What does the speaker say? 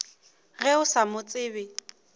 ge o sa mo tsebe